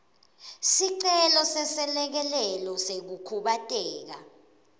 sicelo seselekelelo sekukhubateka